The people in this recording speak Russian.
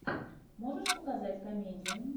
можешь показать комедию